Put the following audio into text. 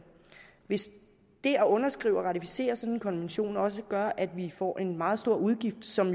hvis det at underskrive og ratificere sådan en konvention også gør at vi får en meget stor udgift som